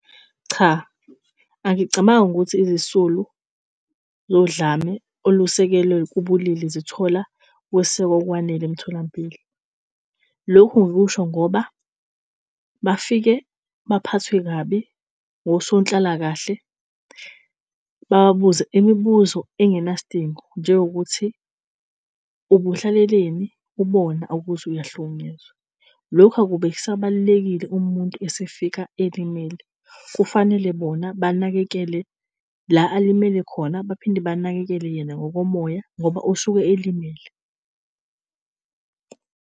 Cha, angicabangi ukuthi izisulu zodlame olusekelwe kubulili zithola ukwesekwa okwanele emtholampilo. Lokhu ngikusho ngoba bafike baphathwe kabi wosonhlalakahle, bababuze imibuzo engenasidingo, njengokuthi ubuhlaleleni ubona ukuthi uyahlukunyezwa. Lokhu akube kusabalulekile uma umuntu esefika elimele, kufanele bona banakele la alimele khona baphinde banakekele yena ngokomoya ngoba usuke elimele.